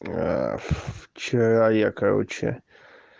вчера я короче